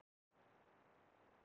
Hamri